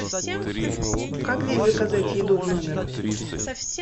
как здесь заказать еду в номер